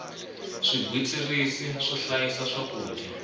swigwitsirisi swo hlayisa swakudya